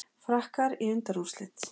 Frakkar í undanúrslitin